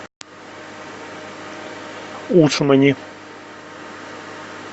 усмани